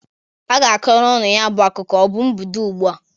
A ga-akọrọ unu ya bụ akụkụ. Ọ bụ m bido ụgbụ a?